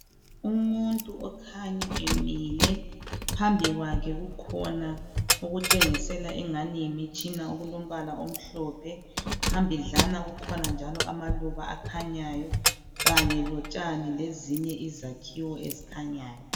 umuntu okhanya emile phambi kwakhe kukhona okutshengisela engani yimitshina okulombala omhlomphe phambidlana kukhona okulamaluba akhanyayo kanye lotshani lezinye izakhiwo ezikhanyayo